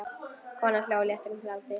Konan hló léttum hlátri.